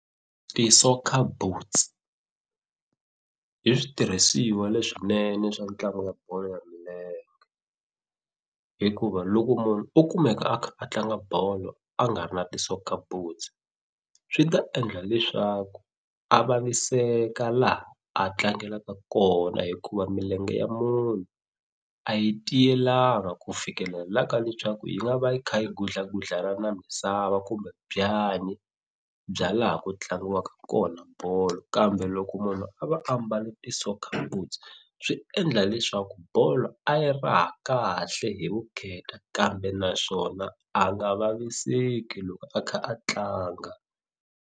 Ti-soccer boots i switirhisiwa leswinene swa ntlangu wa bolo ya milenge hikuva loko munhu o kumeka a kha a tlanga bolo a nga ri na ti-soccer boots swi ta endla leswaku a vaviseka laha a tlangelaka kona hikuva milenge ya munhu a yi tiyelanga ku fikelela ka leswaku yi nga va yi kha yi gudlagudlana na misava kumbe byanyi bya laha ku tlangiwaka kona bolo kambe loko munhu a va a mbale ti-soccer boots swi endla leswaku bolo a yi raha kahle hi vukheta kambe naswona a nga vaviseki loko a kha a tlanga.